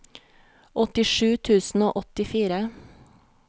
åttisju tusen og åttifire